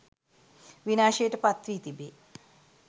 විනාශයට පත් වී තිබේ